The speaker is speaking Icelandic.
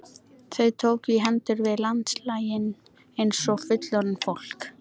Þau tókust í hendur við landganginn eins og fullorðið fólk.